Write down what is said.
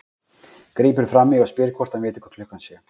Grípur fram í og spyr hvort hann viti hvað klukkan sé.